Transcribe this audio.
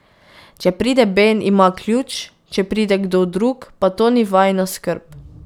Če pride Ben, ima ključ, če pride kdo drug, pa to ni vajina skrb.